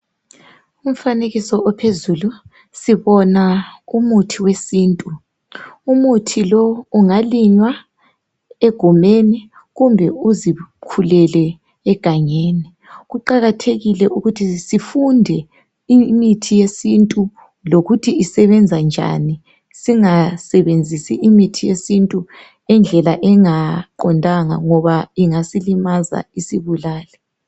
Umfanekiso ophezulu ,sibona umuthi wesintu ,umuthi lo ungalinywa egumeni kumbe uzikhulele egangeni, kuqakathekile ukuthi sifunde imithi yesintu lokuthi isebenza njani ,singasebenzisi imithi yesintu indlela engaqondanga ngoba ingasilimaza isibulale .